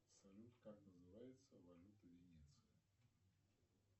салют как называется валюта венеции